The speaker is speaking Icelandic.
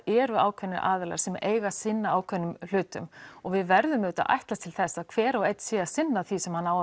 eru ákveðnir aðilar sem eiga að sinna ákveðnum hlutum og við verðum auðvitað að ætlast til þess að hver og einn sé að sinna því sem hann á